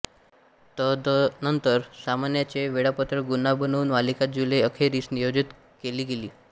तदनंतर सामन्यांचे वेळापत्रक पुन्हा बनवून मालिका जुलै अखेरिस नियोजित केली गेली